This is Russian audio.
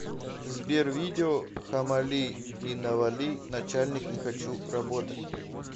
сбер видео хамали и навали начальник не хочу работать